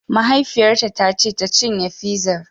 Mahaifiyarta ta ce tacinye fizar!